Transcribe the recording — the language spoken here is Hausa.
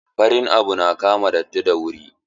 Farin abu na kama datti da wuri.